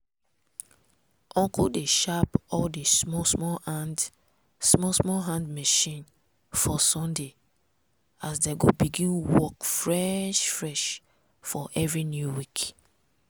uncle dey sharp all di small small hand small small hand machine for sunday so dem go begin work fresh fresh for every new week.